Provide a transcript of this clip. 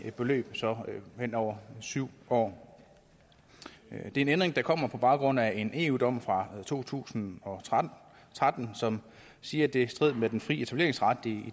beløb hen over syv år det er en ændring der kommer på baggrund af en eu dom fra to tusind og tretten som siger at det er i strid med den frie etableringsret i